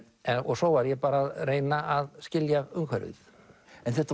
svo var ég að reyna að skilja umhverfið þetta